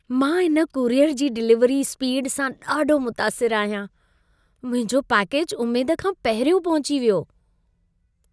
मां इन कुरियर जी डिलीवरी स्पीड सां ॾाढो मुतासिरु आहियां। मुंहिंजो पैकेज उमेद खां पहिरियों पहुची वियो!